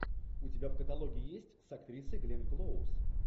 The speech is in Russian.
у тебя в каталоге есть с актрисой гленн клоуз